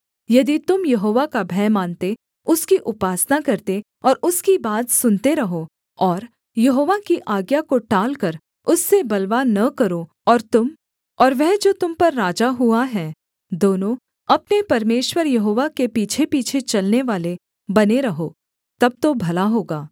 यदि तुम यहोवा का भय मानते उसकी उपासना करते और उसकी बात सुनते रहो और यहोवा की आज्ञा को टालकर उससे बलवा न करो और तुम और वह जो तुम पर राजा हुआ है दोनों अपने परमेश्वर यहोवा के पीछेपीछे चलनेवाले बने रहो तब तो भला होगा